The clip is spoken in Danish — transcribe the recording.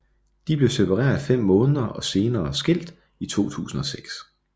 De blev separeret fem måneder senere og skilt i 2006